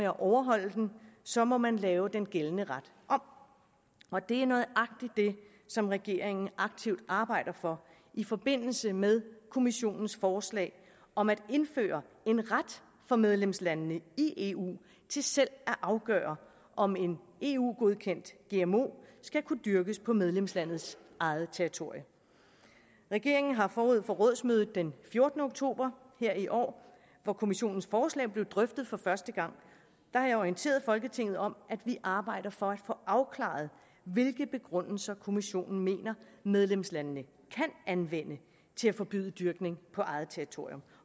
at overholde den så må man lave den gældende ret om og det er nøjagtig det som regeringen aktivt arbejder for i forbindelse med kommissionens forslag om at indføre en ret for medlemslandene i eu til selv at afgøre om en eu godkendt gmo skal kunne dyrkes på medlemslandets eget territorium regeringen har forud for rådsmødet den fjortende oktober her i år hvor kommissionens forslag blev drøftet for første gang orienteret folketinget om at vi arbejder for at få afklaret hvilke begrundelser kommissionen mener medlemslandene kan anvende til at forbyde dyrkning på eget territorium